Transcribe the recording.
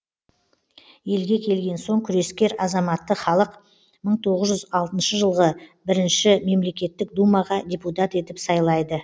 елге келген соң күрескер азаматты халық мың тоғыз жүз алтыншы жылғы бірінші мемлекеттік думаға депутат етіп сайлайды